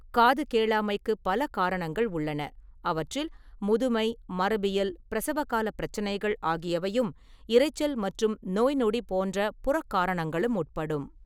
காது கேளாமைக்கு பல காரணங்கள் உள்ளன, அவற்றில் முதுமை, மரபியல், பிரசவகாலப் பிரச்சனைகள் ஆகியவையும், இரைச்சல் மற்றும் நோய்நொடி போன்ற புறக் காரணங்களும் உட்படும்.